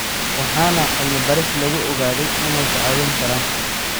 waxaana cilmi baaris lagu ogaaday in ay ku caawin karaan.